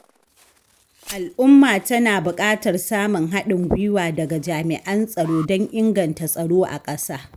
Al'umma tana buƙatar samun haɗin gwiwa daga jami'an tsaro don inganta tsaro a ƙasa